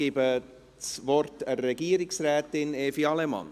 Ich gebe das Wort an Frau Regierungsrätin Evi Allemann.